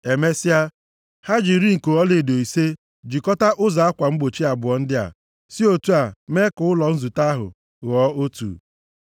Emesịa, ha ji iri nko ọlaedo ise jikọta ụzọ akwa mgbochi abụọ ndị a, si otu a mee ka ụlọ nzute ahụ ghọọ otu.